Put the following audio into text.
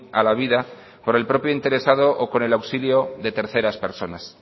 a la vida por el propio interesado o con el auxilio de terceras personas